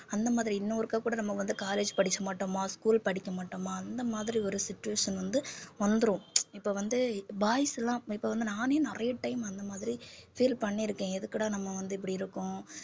அந்த மாதிரி இன்னும் ஒருக்காக் கூட நம்ம வந்து college படிக்க மாட்டோமா school படிக்க மாட்டோமா அந்த மாதிரி ஒரு situation வந்து வந்திரும் இப்ப வந்து boys எல்லாம் இப்ப வந்து நானே நிறைய time அந்த மாதிரி feel பண்ணியிருக்கேன் எதுக்குடா நம்ம வந்து இப்படி இருக்கோம்